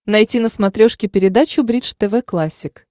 найти на смотрешке передачу бридж тв классик